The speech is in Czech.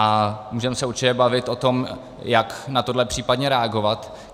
A můžeme se určitě bavit o tom, jak na tohle případně reagovat.